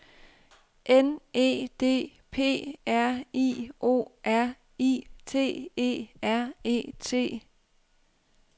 N E D P R I O R I T E R E T